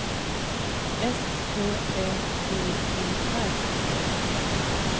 S T Ä D E R